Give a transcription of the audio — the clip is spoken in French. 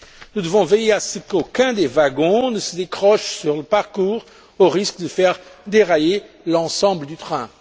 Nous devons veiller à ce qu'aucun des wagons ne se décroche sur le parcours au risque de faire dérailler l'ensemble du train.